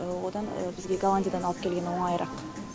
одан бізге голландиядан алып келген оңайырақ